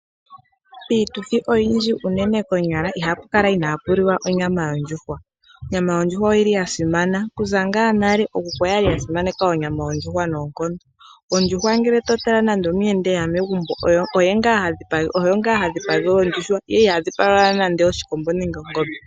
Piituthi oyindji unene konyala ihapu kala ina pu liwa onyama yondjuhwa, onyama yondjuhwa oyi li yasimana okuza nga nale, ookuku oyali yasimaneka ondjuhwa noonkondo. Ondjuhwa ngele pehala omuyenda eya megumbo oyo nga hadhipagelwa ondjuhwa ndele iha dhipagelwa nande oshikombo nenge ongombe.